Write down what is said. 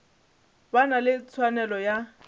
ba na le tshwanelo ya